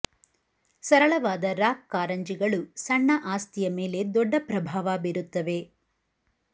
ಸರಳವಾದ ರಾಕ್ ಕಾರಂಜಿಗಳು ಸಣ್ಣ ಆಸ್ತಿಯ ಮೇಲೆ ದೊಡ್ಡ ಪ್ರಭಾವ ಬೀರುತ್ತವೆ